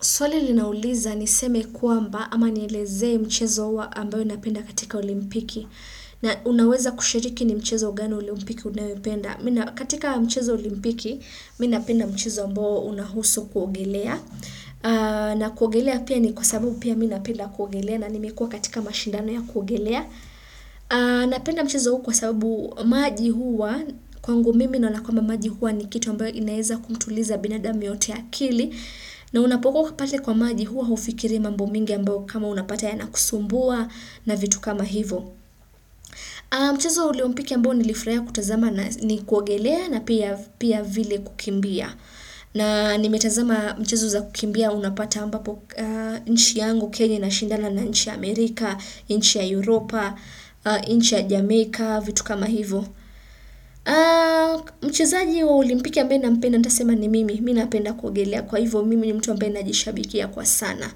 Swali linauliza niseme kwamba ama nielezee mchezo huwa ambayo ninapenda katika olimpiki. Na unaweza kushiriki ni mchezo gani olimpiki unayopenda. Katika mchezo olimpiki, minapenda mchezo ambao unahusu kuogelea. Na kuogelea pia ni kwa sababu pia minapenda kuogelea na nimekua katika mashindano ya kuogelea. Napenda mchezo huu kwa sababu maji huwa, kwangu mimi naonakwamba maji huwa ni kitu ambayo inaeza kumtuliza binada muyeyote akili. Na unapokua ukipate kwa maji huwa hufikirii mambo mingi ambao kama unapataya na kusumbua na vitu kama hivo. Mchezo waolimpiki ambao nilifrahia kutazama ni kuogelea na pia vile kukimbia. Na nimetazama mchezo za kukimbia unapata ambapo nchi yangu kenya ina shindana na nchi ya Amerika, nchi ya Europa, nchi ya Jamaica, vitu kama hivo. Mchezaji wa olimpiki ambaye nampenda ntasema ni mimi Mina penda kuogelea kwa hivo mimi ni mtu ambaye najishabikia kwa sana